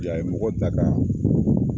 I y'a ye mɔgɔ dakan